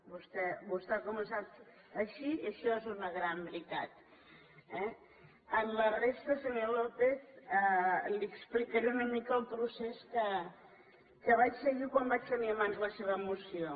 vostè ha començat així i això és una gran veritat eh amb la resta senyor lópez li explicaré una mica el procés que vaig seguir quan vaig tenir a mans la seva moció